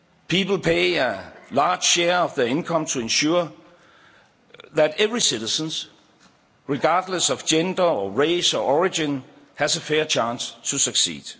People pay a large share of their income to ensure that every citizen, regardless of gender, race or origin, has a fair chance to succeed.